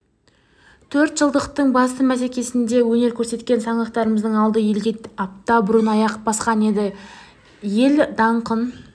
төрт жылдықтың басты бәсекесінде өнер көрсеткен саңлақтарымыздың алды елге апта бұрын аяқ басқан еді ел даңқын